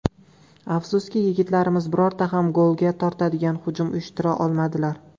Afsuski, yigitlarimiz birorta ham golga tortadigan hujum uyushtira olmadilar.